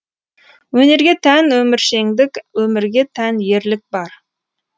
өнерге тән өміршеңдік өмірге тән ерлік бар